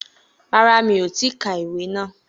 Rárá, mi ò tí ì ka ìwé náà